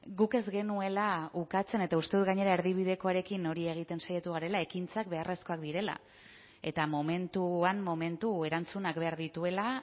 guk ez genuela ukatzen eta uste dut gainera erdibidekoarekin hori egiten saiatu garela ekintzak beharrezkoak direla eta momentuan momentu erantzunak behar dituela